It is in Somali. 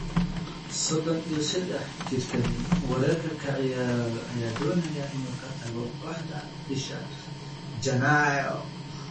Sodon iyo sedex jirkaan weerarka ka ciyaara ayaa doonaya inuu ka tago kooxda bisha Janaayo.